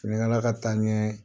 Fini kala ka taa ɲɛ